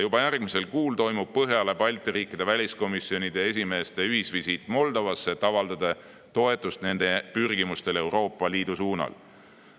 Juba järgmisel kuul toimub Põhjala-Balti riikide väliskomisjonide esimeeste ühisvisiit Moldovasse, et avaldada toetust nende rahva Euroopa Liitu pürgimisele.